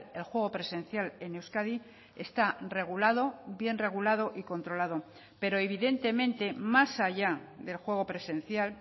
el juego presencial en euskadi está regulado bien regulado y controlado pero evidentemente más allá del juego presencial